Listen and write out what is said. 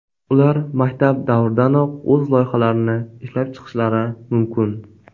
Ular maktab davridanoq o‘z loyihalarini ishlab chiqishlari mumkin.